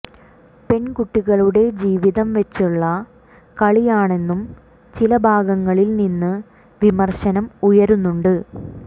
പെൺകുട്ടികളുടെ ജീവിതം വെച്ചുള്ള കളിയാണെന്നും ചില ഭാഗങ്ങളിൽ നിന്ന് വിമർശനം ഉയരുന്നുണ്ട്